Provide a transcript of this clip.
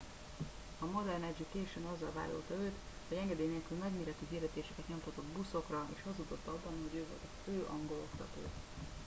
a modern education azzal vádolta őt hogy engedély nélküli nagyméretű hirdetéseket nyomtatott buszokra és hazudott abban hogy ő volt a fő angol oktató